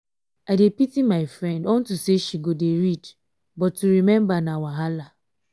i dey pity my friend unto say she go dey read but to remember na wahala.